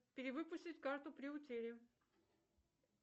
перевыпустить карту при утере